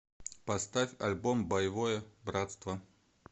поставь альбом боевое братство